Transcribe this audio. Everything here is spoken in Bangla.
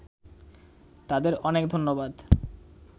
তাদের অনেক ধন্যবাদ